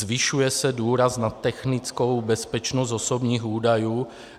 Zvyšuje se důraz na technickou bezpečnost osobních údajů.